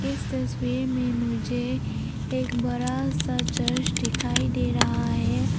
इस तस्वीर में मुझे एक बड़ा सा चर्च दिखाई दे रहा है।